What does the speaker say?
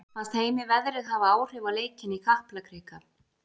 Fannst Heimi veðrið hafa áhrif á leikinn í Kaplakrika?